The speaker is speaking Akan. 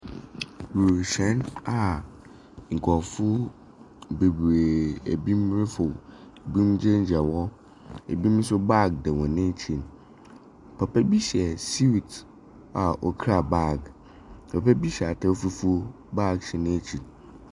Wiemhyɛn a nkurɔfo bebiree ebinom reforo, ebinom gyinagyina hɔ. Ebinom nso baage bɔ wɔn ekyir. Papa bi hyɛ suit a ɔkura bag. Papa bi nso hyɛ ataar fufuo, bag hyɛ n’ekyir.